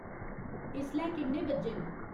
इसलै किन्ने बज्जे न